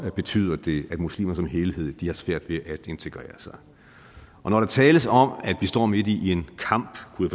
betyder det at muslimer som helhed har svært ved at integrere sig når der tales om at vi står midt i en kamp kunne